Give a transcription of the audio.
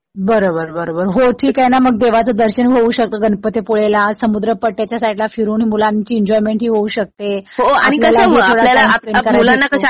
बरं बरं बरं. हो ठीक आहे ना मग देवाचं दर्शन होऊ शकतं गणपतीपुळेला. समुद्र पट्टा त्याच्या साईडला फिरून मुलांची एन्जॉयमेंट होऊ शकते. आपल्यालाही थोडा टाइम स्पेंड करायला भेटतो.